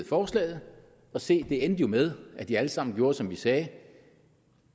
forslaget og se det endte jo med at de alle sammen gjorde som vi sagde